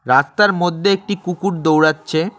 রাস্তার মধ্যে একটি কুকুর দৌড়াচ্ছে।